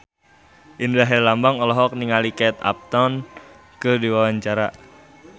Indra Herlambang olohok ningali Kate Upton keur diwawancara